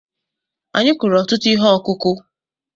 Anyị kụrụ ọtụtụ ihe ọkụkụ̀.